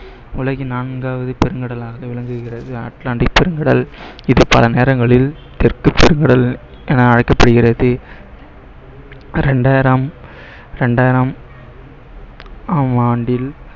உலகின் நான்காவது பெருங்கடலாக விளங்குகிறது அட்லாண்டிக் பெருங்கடல் இது பல நேரங்களில் தெற்கு பெருங்கடல் என அழைக்கப்படுகிறது இரண்டாயிரம் இரண்டாயிரம் ஆண்டில்